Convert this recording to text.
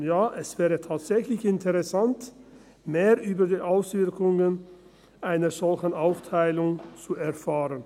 Ja, es wäre tatsächlich interessant, mehr über die Auswirkungen einer solchen Aufteilung zu erfahren.